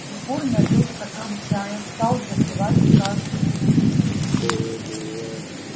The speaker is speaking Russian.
егор налил стакан чая стал запивать каждый зубчик